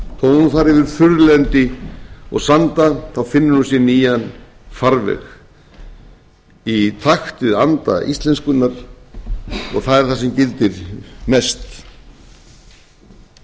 hún fari yfir þurrlendi og sanda þá finnur hún sér nýjan farveg í takt við anda íslenskunnar og það er það sem gildir mest það